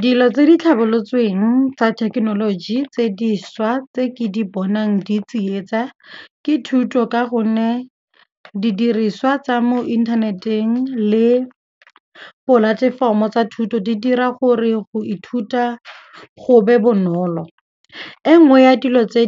Dilo tse di tlhabolotsweng tsa thekenoloji tse dišwa tse ke di bonang di tsietsa ke thuto ka gonne didiriswa tsa mo inthaneteng le polatefomo tsa thuto di dira gore go ithuta go be bonolo. E nngwe ya dilo tse